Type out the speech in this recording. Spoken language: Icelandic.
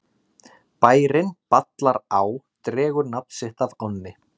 Bærinn Ballará dregur nafn sitt af ánni.